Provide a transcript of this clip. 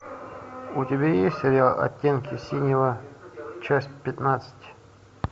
у тебя есть сериал оттенки синего часть пятнадцать